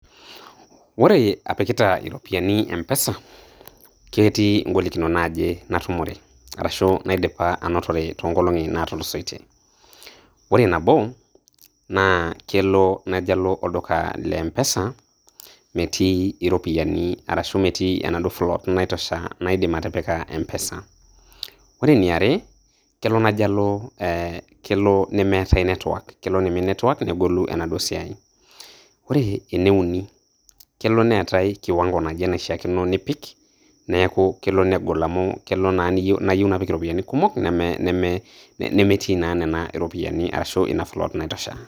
ore apikita iropiyiani empesa naa ketii igolikinot naaje natumore, ashu inaidipa anotore too nkolongi naatulusoitie. ore nabo naa kelo najo alo olduka Le mpesa metii iropiyiani arashu float naitosha naidim atipika mpesa, ore eniare, kelo najo alo negolu network, ore ene uni kelo neetae kiwango naishaa nipik. neeku kelo negol amu kelo, naa najo apik iropiyiani najo apik iropiyiani kumok nemetii naa nena ropiyiani arashu ina float naitosha.